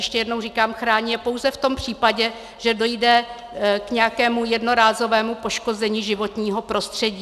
Ještě jednou říkám, chrání je pouze v tom případě, že dojde k nějakému jednorázovému poškození životního prostředí.